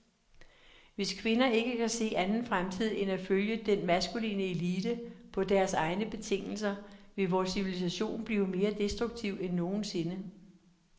Hvis kvinder ikke kan se anden fremtid end at følge den maskuline elite på dens egne betingelser, vil vor civilisation blive mere destruktiv end nogensinde.